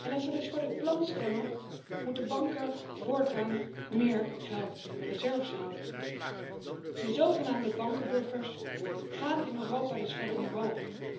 Als we dus vóór het plan stemmen, moeten banken voortaan meer geld in hun reserves houden. De zogenaamde bankenbuffers gaan in Europa dus verder omhoog.